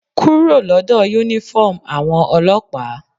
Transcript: Kúrò lọ́dọ̀ uniform àwọn ọlọ́pàá!